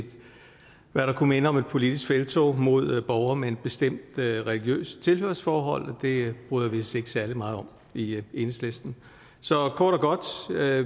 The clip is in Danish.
hvad der kunne minde om et politisk felttog mod borgere med et bestemt religiøst tilhørsforhold det bryder vi os ikke særlig meget om i enhedslisten så kort og godt